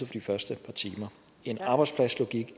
de første par timer en arbejdspladslogik i